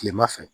Kilema fɛ